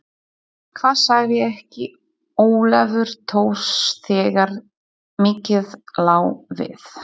Hvað sagði ekki Ólafur Thors þegar mikið lá við